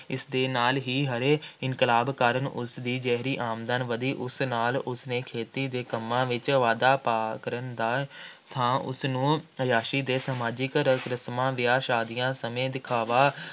ਇਸ ਦੇ ਨਾਲ ਹੀ ਹਰੇ ਇਨਕਲਾਬ ਕਾਰਨ ਉਸਦੀ ਜਿਹੜੀ ਆਮਦਨ ਵਧੀ, ਉਸ ਨਾਲ ਉਸਨੇ ਖੇਤੀ ਦੇ ਕੰਮਾਂ ਵਿੱਚ ਵਾਧਾ ਕਰਨ ਦਾ ਥਾਂ ਉਸਨੂੰ ਆਯਾਸ਼ੀ ਦੇ ਸਮਾਜਿਕ ਰਸਮਾਂ, ਵਿਆਹਾਂ-ਸ਼ਾਦੀਆਂ ਅਤੇ ਦਿਖਾਵਾ